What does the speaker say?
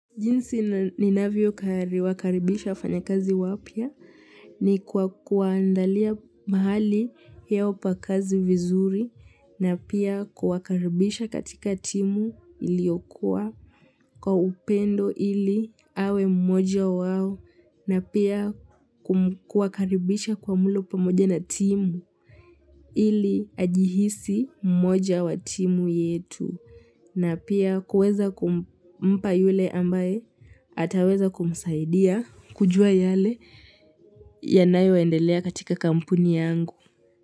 Jinsi ninavyowakaribisha wafanyakazi wapya ni kwa kuwaandalia mahali yao pa kazi vizuri na pia kuwakaribisha katika timu iliyokuwa kwa upendo ili awe mmoja wao na pia kuwakaribisha kwa mlo pamoja na timu ili ajihisi mmoja wa timu yetu. Na pia kuweza kumpa yule ambaye ataweza kumsaidia kujua yale yanayoendelea katika kampuni yangu.